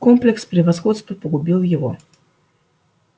комплекс превосходства погубил его